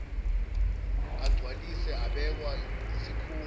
agcwaliswe abekwa yisikhungo